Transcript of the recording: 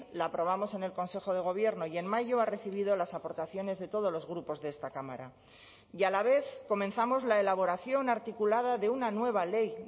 la aprobamos en el consejo de gobierno y en mayo ha recibido las aportaciones de todos los grupos de esta cámara y a la vez comenzamos la elaboración articulada de una nueva ley